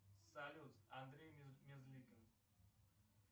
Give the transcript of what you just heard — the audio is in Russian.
салют андрей мерзликин